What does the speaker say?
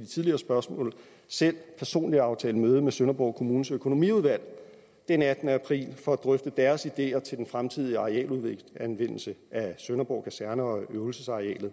de tidligere spørgsmål selv personligt aftalt møde med sønderborg kommunes økonomiudvalg den attende april for at drøfte deres ideer til den fremtidige arealanvendelse af sønderborg kaserne og øvelsesarealet